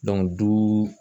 du